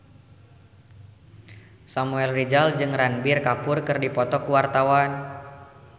Samuel Rizal jeung Ranbir Kapoor keur dipoto ku wartawan